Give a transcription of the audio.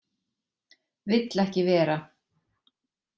Vill ekki vera.